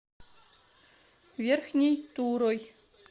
верхней турой